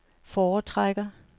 foretrækker